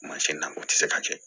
Mansin na o tɛ se ka kɛ